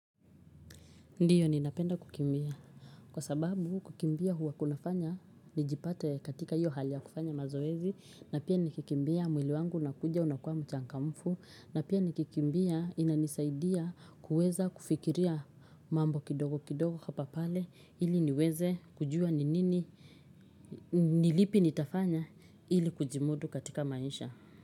Ndio ninapenda kukimbia kwa sababu kukimbia huwa kunafanya nijipate katika hiyo hali ya kufanya mazoezi, na pia nikikimbia mwili wangu unakuja unakuwa mchangamfu, na pia nikikimbia inanisaidia kuweza kufikiria mambo kidogo kidogo hapa pale ili niweze kujua ni nini ni lipi nitafanya ili kujimudu katika maisha.